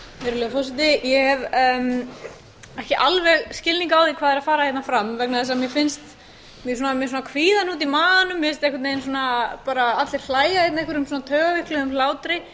virðulegur forseti ég hef ekki alveg skilning á því hvað r að fara hérna fram vegna þess að mér finnst ég er með svona kvíðahnút í maganum mér finnst einhvern veginn svona bara allir hlæja hérna einhverjum svona taugaveikluðum hlátri